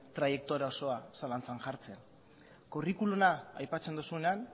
traiektoria osoa zalantzan jartzen curriculuma aipatzen duzunean